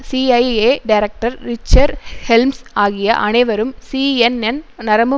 CIA director Richard Helms ஆகிய அனைவரும் CNN நரம்பு